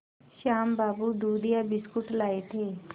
श्याम बाबू दूधिया बिस्कुट लाए थे